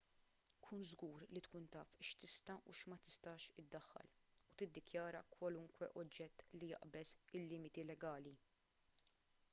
kun żgur li tkun taf x'tista' u x'ma tistax iddaħħal u tiddikjara kwalunkwe oġġett li jaqbeż il-limiti legali